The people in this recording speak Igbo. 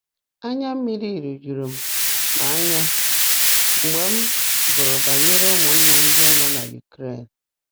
“Anya mmiri rujuru m m anya mgbe m gụrụ banyere ụmụnna ndị a nọ na Ukraine.